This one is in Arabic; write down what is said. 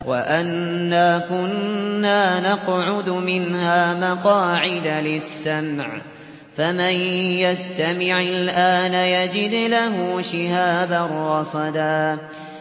وَأَنَّا كُنَّا نَقْعُدُ مِنْهَا مَقَاعِدَ لِلسَّمْعِ ۖ فَمَن يَسْتَمِعِ الْآنَ يَجِدْ لَهُ شِهَابًا رَّصَدًا